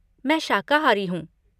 मैं शाकाहारी हूँ।